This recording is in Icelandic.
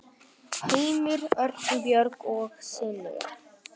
Heimir Örn, Björg og synir.